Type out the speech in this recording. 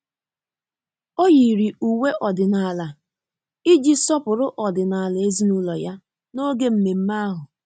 Ọ́ yìrì uwe ọ́dị́nála iji sọ́pụ́rụ́ ọ́dị́nála ezinụlọ ya n’ógè mmemme ahụ.